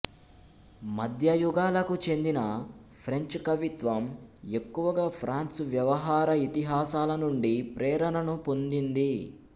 మధ్యయుగాలకు చెందిన ఫ్రెంచ్ కవిత్వం ఎక్కువగా ఫ్రాన్సు వ్యవహార ఇతిహాసాల నుండి ప్రేరణను పొందింది